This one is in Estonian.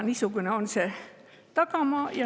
Niisugune on see tagamaa.